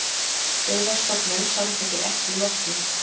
Byggðastofnun samþykkir ekki Lotnu